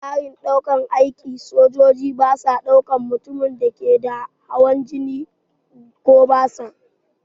A tsarin ɗaukan aiki, sojoji basa ɗaukan mutumin da yake da hawan jini da kuma basir.